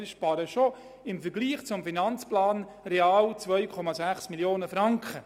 Wir sparen im Vergleich zum Finanzplan real 2,6 Mio. Franken.